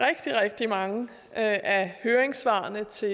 rigtig rigtig mange af høringssvarene til